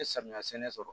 N ye samiya sɛnɛ sɔrɔ